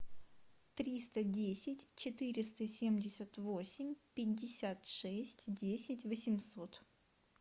триста десять четыреста семьдесят восемь пятьдесят шесть десять восемьсот